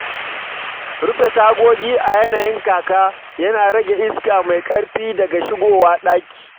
Rufe tagogi a yanayin kaka yana rage iska mai ƙarfi daga shigowa ɗaki.